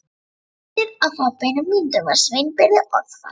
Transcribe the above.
Í annað skiptið á fáeinum mínútum varð Sveinbirni orðfall.